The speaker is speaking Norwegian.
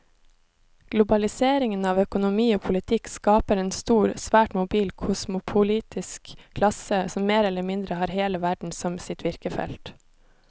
Globaliseringen av økonomi og politikk skaper en stor, svært mobil kosmopolitisk klasse som mer eller mindre har hele verden som sitt virkefelt.